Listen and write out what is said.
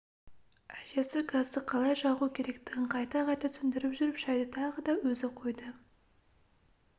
әжесі газды қалай жағу керектігін қайта-қайта түсіндіріп жүріп шайды тағы да өзі қойды